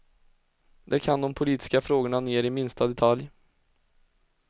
De kan de politiska frågorna ner i minsta detalj.